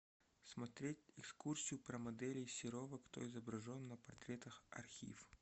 смотреть экскурсию про моделей серова кто изображен на портретах архив